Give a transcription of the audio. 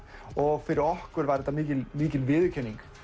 og fyrir okkur var þetta mikil mikil viðurkenning